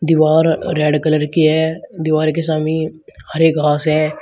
दीवार red colour की है दीवार के सामी हरे घास है।